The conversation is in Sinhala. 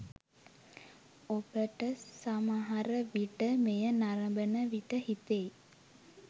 ඔබට සමහරවිට මෙය නරඹන විට හිතෙයි